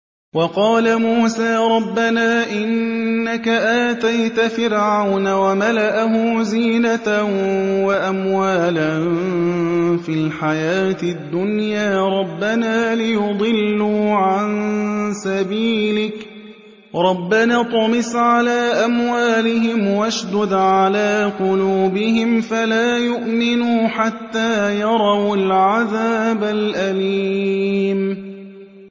وَقَالَ مُوسَىٰ رَبَّنَا إِنَّكَ آتَيْتَ فِرْعَوْنَ وَمَلَأَهُ زِينَةً وَأَمْوَالًا فِي الْحَيَاةِ الدُّنْيَا رَبَّنَا لِيُضِلُّوا عَن سَبِيلِكَ ۖ رَبَّنَا اطْمِسْ عَلَىٰ أَمْوَالِهِمْ وَاشْدُدْ عَلَىٰ قُلُوبِهِمْ فَلَا يُؤْمِنُوا حَتَّىٰ يَرَوُا الْعَذَابَ الْأَلِيمَ